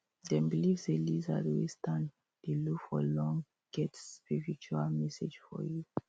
dem believe say lizard wey stand dey look for long get spiritual message for you